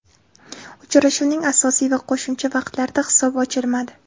Uchrashuvning asosiy va qo‘shimcha vaqtlarida hisob ochilmadi.